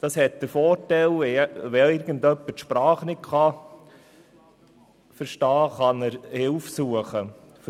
Dies hat den Vorteil, dass jemand, der die Sprache nicht versteht, Hilfe suchen kann.